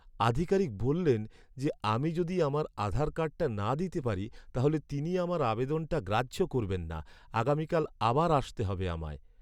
আধিকারিক বললেন যে আমি যদি আমার আধার কার্ডটা না দিতে পারি তাহলে তিনি আমার আবেদনটা গ্রাহ্য করবেন না। আগামীকাল আবার আসতে হবে আমায়।